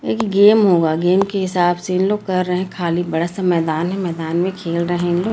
ये गेम होगा गेम के हिसाब से ये लोग कर रहे हैं खाली बड़ा सा मैदान है मैदान में खेल रहे हैं।